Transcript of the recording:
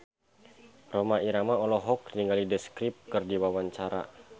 Rhoma Irama olohok ningali The Script keur diwawancara